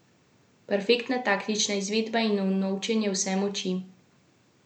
Perfektna taktična izvedba in unovčenje vse moči.